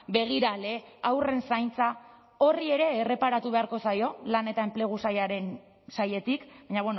begirale haurren zaintza horri ere erreparatu beharko zaio lan eta enplegu sailaren sailetik baina